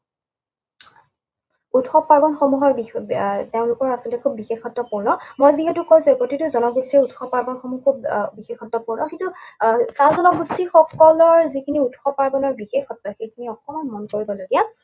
উৎসৱ পাৰ্বণসমূহৰ আহ তেওঁলোকৰ আচলতে খুব বিশেষত্বপূৰ্ণ। মই যিহেতু কৈছোৱেই প্ৰতিটো জনগোষ্ঠীৰেই উৎসৱ পাৰ্বণসমূহ খুব আহ বিশেষত্বপূৰ্ণ। কিন্তু আহ চাহ জনগোষ্ঠীসকলৰ যিখিনি উৎসৱ পাৰ্বণৰ বিশেষত্ব, সেইখিনি অকণমান মন কৰিবলগীয়া।